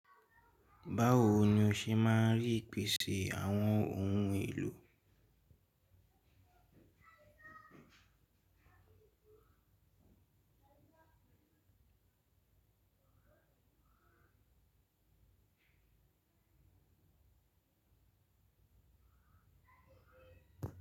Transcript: Báwo ni o ṣe máa ń rí ìpèsè àwọn ohun èlò?